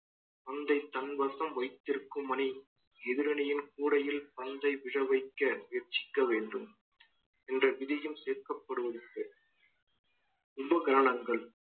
பந்தை தன்வசம் வைத்திருக்கும் மணி எதிரணியின் கூடையில் பந்தை விழ வைக்க முயற்சிக்க வேண்டும் என்ற விதியும் சேர்க்கப்படுவதற்கு ரொம்ப கவனங்கள்